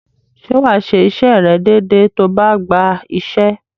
Ṣé wà á ṣe iṣẹ́ rẹ̀ déedée tó o bá gba iṣẹ́?